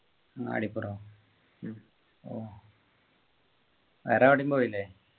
അങ്ങാടിപ്പുറോ ഉം വേറെ എവിടേം പോയില്ലേ